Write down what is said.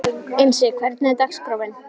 Einsi, hvernig er dagskráin?